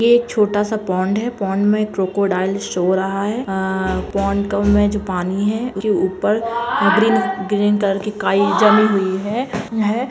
यह एक छोटा सा पॉण्ड है पॉण्ड में एक क्रोकोडायल सो रहा है आ पॉण्ड मे जो पानी है उनके ऊपर ग्रीन ग्रीन कलर की काई जमी हुई है है।